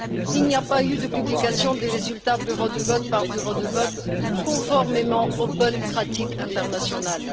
Il n'y a pas eu de publication des résultats bureau de vote par bureau de vote, conformément aux bonnes pratiques internationales.